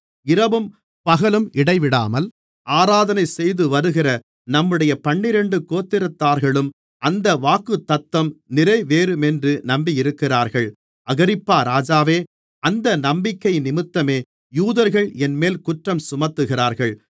இரவும் பகலும் இடைவிடாமல் ஆராதனை செய்துவருகிற நம்முடைய பன்னிரண்டு கோத்திரத்தார்களும் அந்த வாக்குத்தத்தம் நிறைவேறுமென்று நம்பியிருக்கிறார்கள் அகிரிப்பா ராஜாவே அந்த நம்பிக்கையினிமித்தமே யூதர்கள் என்மேல் குற்றஞ்சுமத்துகிறார்கள்